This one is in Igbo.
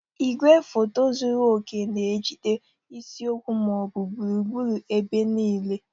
Igwefoto zuru oke na-ejide isiokwu ma ọ bụ gburugburu ebe niile.